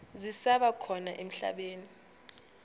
zisaba khona emhlabeni